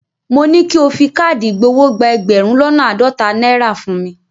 Mo ní ki o fi káàdì ìgbowó gba ẹgbẹ̀rún lọ́nà àádọ́ta náírà fún mi.